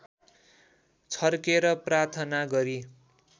छर्केर प्रार्थना गरी